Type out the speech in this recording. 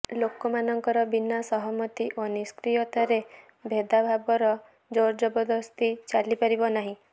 ଲୋକମାନଙ୍କର ବିନା ସହମତି ଓ ନିଷ୍କ୍ରିୟତାରେ ଭେଦାଭେଦର ଜୋରଜବରଦସ୍ତି ଚାଲିପାରିବ ନାହିଁ